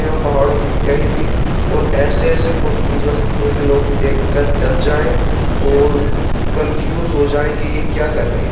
और पहाड़ों की कहीं भी और ऐसे-ऐसे फोटो खींचवा सकते हैं कि लोग देखकर डर जाएं और कंफ्यूज हो जाए कि यह क्या कर रहे हैं।